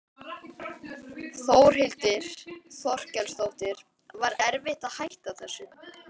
Þórhildur Þorkelsdóttir: Var erfitt að hætta þessu?